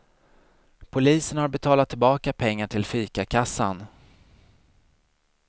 Polisen har betalat tillbaka pengar till fikakassan.